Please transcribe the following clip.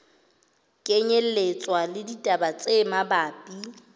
kenyelletswa le ditaba tse mabapi